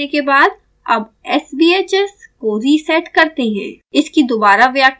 परिक्षण पूरा करने के बाद अब sbhs को रीसेट करते हैं